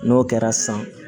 N'o kɛra san